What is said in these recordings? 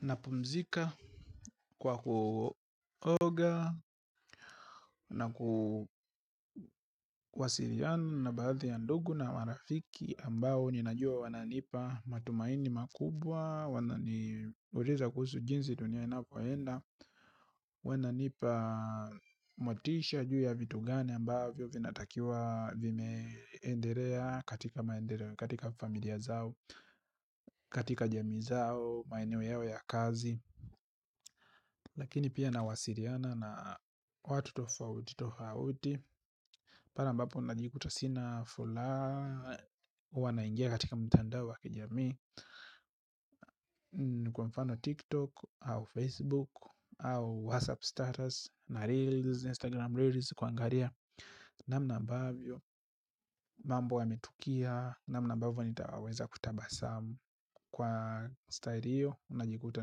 Napumzika kwa kuoga na kuwasiriana na baadhi ya ndugu na marafiki ambao ninajua wananipa matumaini makubwa. Wananiuriza kuhusu jinsi dunia inapoenda. Wananipa motisha juu ya vitu gani ambavyo vinatakiwa vimeenderea katika familia zao. Katika jamii zao, maeneo yao ya kazi. Lakini pia nawasiriana na watu tofauti tofauti pare ambapo unajikuta sina fulaha huwa naingia katika mtandao wa kijamii. Kwa mfano tiktok au facebook au whatsapp starters na reels, instagram reels kuangaria. Namna ambavyo mambo yametukia. Namna ambavyo nitawaweza kutabasamu. Kwa style hiyo najikuta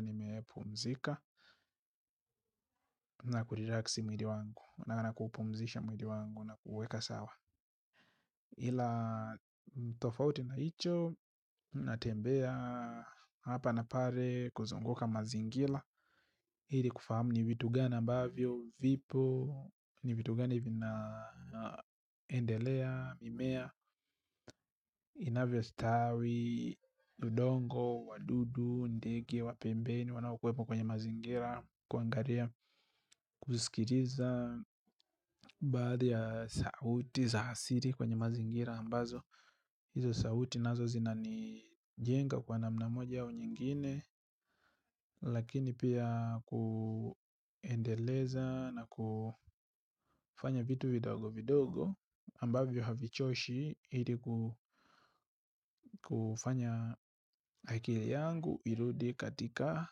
nimepumzika. Na kurelax mwiri wangu na kuupumzisha mwili wangu na kuuweka sawa ila tofauti na hicho natembea hapa na pare kuzunguka mazingila hili kufahamu ni vitu gani ambavyo, vipo ni vitu gani vinaendelea, mimea inavyostawi, udongo, wadudu, ndege, wa pembeni wanakuwepo kwenye mazingila kuangaria kusikiriza baadhi ya sauti za asiri kwenye mazingira ambazo hizo sauti nazo zinani jenga kwa namna moja au nyingine lakini pia kuendeleza na kufanya vitu vidogo vidogo ambavyo havichoshi ili kufanya akili yangu irudi katika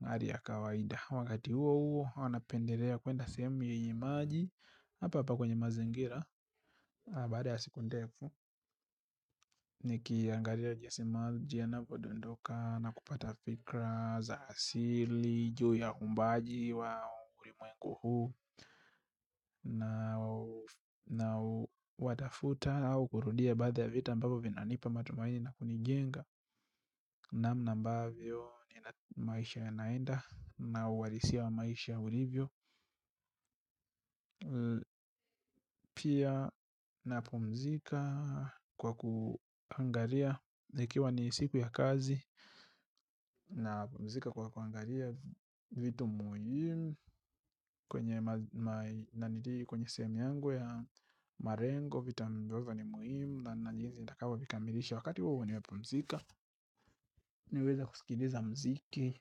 nari ya kawaida wakati huo huo huwa napenderea kuenda sehemu yenye maji hapa hapa kwenye mazingira baada ya siku ndefu nikiangaria jinsi maji yanavodondoka na kupata fikra za asili juu ya uumbaji wa urimwengu huu na watafuta au kurudia baadhi ya vita ambavyo vinanipa matumaini na kunijenga namna ambavyo na maisha yanaenda na uharisia wa maisha ulivyo pia napumzika kwa kuangaria zikiwa ni siku ya kazi napumzika kwa kuangaria vitu muhim kwenye na niti kwenye sehemu yangu ya marengo vitu ambavyo ni muhimu na na jinzi nitakavyovikamirisha wakati huo nimepumzika niweze kusikiriza mziki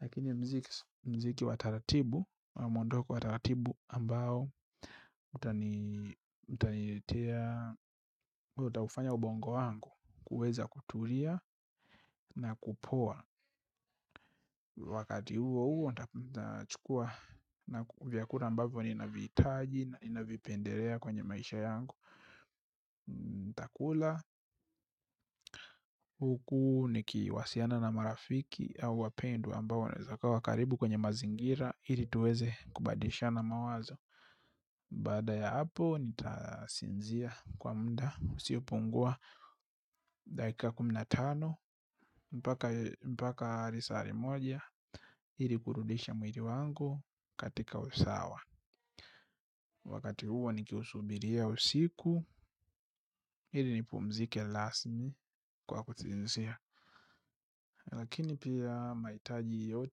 lakini mziki mziki wa taratibu mwondoko wa taratibu ambao utani utaniletea utafanya ubongo wangu kuweza kutulia na kupoa. Wakati huo huo nitachukua na vyakura ambavyo ninavihitaji na ninavipenderea kwenye maisha yangu. Ntakula huku nikiwasiana na marafiki au wapendwa ambao wanaweza kawa karibu kwenye mazingira. Ili tuweze kubadilishana mawazo. Baada ya hapo nitasinzia kwa mda usiopungua dakika kumi na tano mpaka risari moja ili kurudisha mwiri wangu katika usawa. Wakati huo nikiusubiria usiku ili nipumzike lasmi kwa kutizizizia. Lakini pia mahitaji yote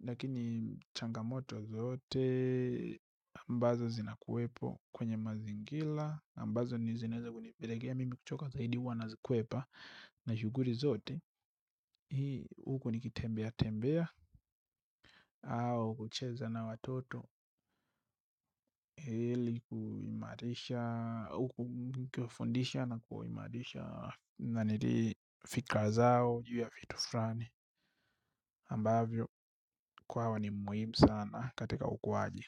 lakini changamoto zote ambazo zinakuwepo kwenye mazingila ambazo ni zinaeza kunipelekea mimi kuchoka zaidi huwa nazikwepa. Na shughuri zote huku nikitembea tembea au kucheza na watoto ili kuimarisha na kufundisha na kuimarisha na niti fikra zao juu ya fitu frani ambavyo kwao ni muhimu sana katika ukuwaji.